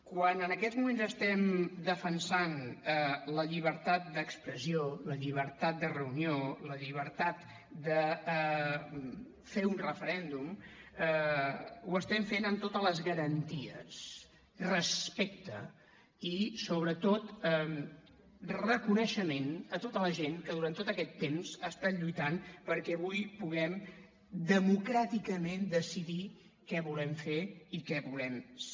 quan en aquests moments estem defensant la llibertat d’expressió la llibertat de reunió la llibertat de fer un referèndum ho estem fent amb totes les garanties respecte i sobretot reconeixement a tota la gent que durant tot aquest temps ha estat lluitant perquè avui puguem democràticament decidir què volem fer i què volem ser